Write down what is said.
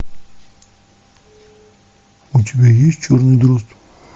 у тебя есть черный дрозд